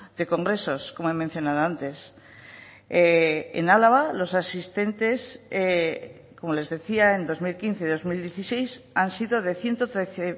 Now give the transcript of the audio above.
de congresos como he mencionado antes en álava los asistentes como les decía en dos mil quince dos mil dieciséis han sido de ciento trece